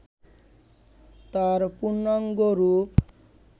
তার পূর্ণাঙ্গ রূপ